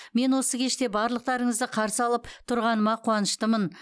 мен осы кеште барлықтарыңызды қарсы алып тұрғаныма қуаныштымын